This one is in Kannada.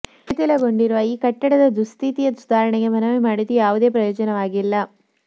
ಶಿಥೀಲಗೊಂಡಿರುವ ಈ ಕಟ್ಟಡದ ದುಸ್ಥಿತಿಯ ಸುಧಾರಣೆಗೆ ಮನವಿ ಮಾಡಿದ್ರೂ ಯಾವುದೇ ಪ್ರಯೋಜನವಾಗಿಲ್ಲ